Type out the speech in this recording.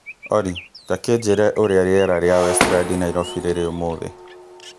Olly, ta kĩnjĩre ũrĩa rĩera rĩa westlands nairobi rĩrĩ ũmũthĩ